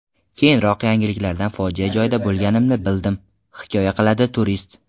Keyinroq yangiliklardan fojia joyida bo‘lganimni bildim”, hikoya qiladi turist.